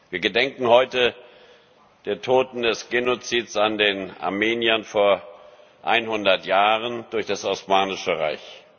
Wir gedenken heute der Toten des Genozids an den Armeniern vor 100 Jahren durch das Osmanische Reich.